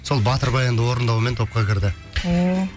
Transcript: сол батыр баянды орындаумен топқа кірді ооо